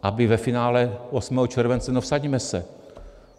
Aby ve finále 8. července - no, vsaďme se.